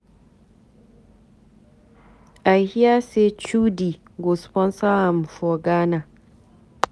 I hear say Chudi go sponsor am for Ghana.